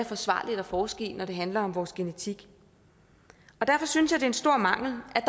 forsvarligt at forske i når det handler om vores genetik og derfor synes er en stor mangel at